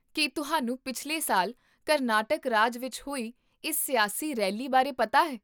ਕੀ ਤੁਹਾਨੂੰ ਪਿਛਲੇ ਸਾਲ ਕਰਨਾਟਕ ਰਾਜ ਵਿੱਚ ਹੋਈ ਇਸ ਸਿਆਸੀ ਰੈਲੀ ਬਾਰੇ ਪਤਾ ਹੈ?